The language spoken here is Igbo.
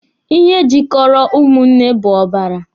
Ihe jikọrọ ụmụnne bụ ọbara